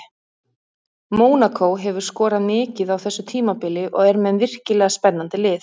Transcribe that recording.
Mónakó hefur skorað mikið á þessu tímabili og er með virkilega spennandi lið.